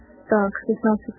как